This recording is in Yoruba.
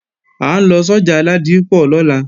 À ń lọ sọ́jà Ládípọ̀ lọ́la